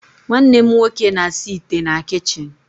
Nwannem nwoke na-asa ite na kichin